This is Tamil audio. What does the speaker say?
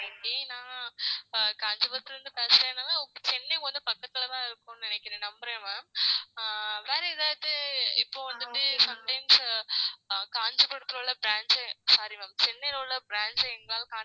நான் காஞ்சிபுரத்துல இருந்து சென்னை பக்கத்துலதான் இருக்கோம் நினைக்கிறேன் நம்புறேன் ma'am வேற ஏதாவது இப்போ வந்துட்டு sometimes காஞ்சிபுரத்திலே உள்ள branch sorry ma'am சென்னையில் உள்ள branch ஐ எங்களால contact